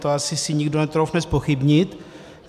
To si asi nikdo netroufne zpochybnit.